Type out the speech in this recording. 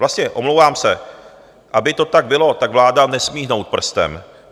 Vlastně - omlouvám se - aby to tak bylo, tak vláda nesmí hnout prstem.